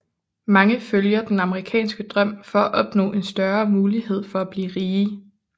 Mange følger den amerikanske drøm for at opnå en større mulighed for at blive rige